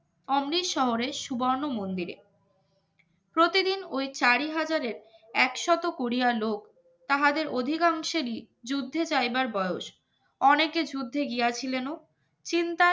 অমৃত শহরে সুবর্ণ মন্দিরেপ্রতিদিন ওই চারিহাজারের একশত কোরিয়া লোক তাহাদের অধিকাংশেরই যুদ্ধে যাইবার বয়স অনেকে যুদ্ধে গিয়েছিলেন ও চিন্তায়